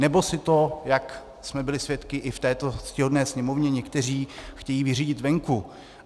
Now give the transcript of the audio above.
Nebo si to, jak jsme byli svědky i v této ctihodné Sněmovně, někteří chtějí vyřídit venku.